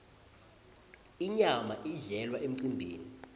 inyama idlelwa emcembeni